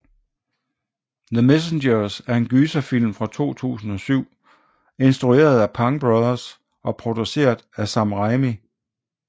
The Messengers er en gyserfilm fra 2007 instrueret af Pang brothers og produceret af Sam Raimi